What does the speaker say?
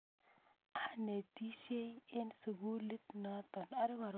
Anetisyei eng' sukulit notok